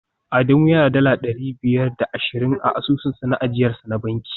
Adamu yana da dala dari biyar da ashirin a asusun ajiyarsa na banki